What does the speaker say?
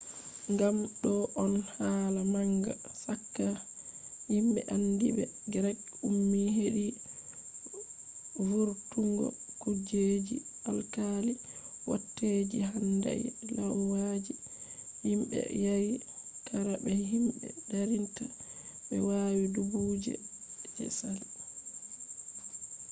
gam do on hala manga chaka himbe andiibe greek ummi hedi vurtungo kujeji alkali watta je handai lauyaji himbe be yari qara be himbe darinta be wadi duubiji je sali